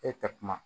E ka kuma